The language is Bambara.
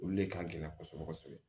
Olu le ka gɛlɛn kɔsɔbɛ kɔsɔbɛ